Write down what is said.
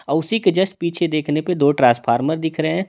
और उसी के जस्ट पीछे देखने पे दो ट्रांसफार्मर दिख रहे हैं।